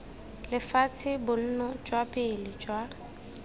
lefatshe bonno jwa pele jwa